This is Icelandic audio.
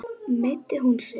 Meiddi hún sig?